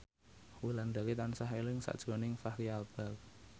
Wulandari tansah eling sakjroning Fachri Albar